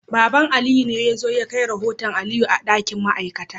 Baba Aliyu ne ya zo ya kai rahoton Aliyu a dakin ma'aikata